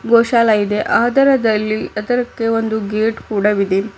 ಗೋಶಾಲ ಇದೆ ಅದರದಲ್ಲಿ ಅದರಕ್ಕೆ ಒಂದು ಗೇಟ್ ಕೂಡ ವಿದೆ.